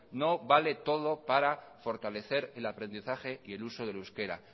no vale todo para fortalecer el aprendizaje y el uso del euskera